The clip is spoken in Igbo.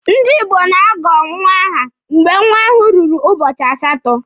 Ndi Igbo na-agọ nwa aha mgbe nwa ahụ ruru ụbọchị asatọ.